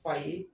Fa ye